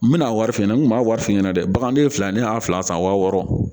N bɛna wari f'i ɲɛna n kun b'a wari f'i ɲɛna dɛ baganden fila ne y'a fila san wa wɔɔrɔ